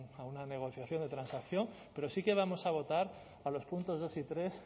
a una negociación de transacción pero sí que vamos a votar a los puntos dos y tres